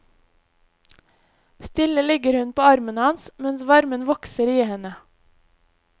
Stille ligger hun på armen hans, mens varmen vokser i henne.